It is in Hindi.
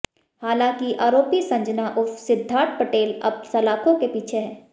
हालांकि आरोपी संजना उर्फ सिद्धार्थ पटेल अब सलाखों के पीछे है